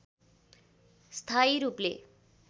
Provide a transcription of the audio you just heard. स्थायी रूपले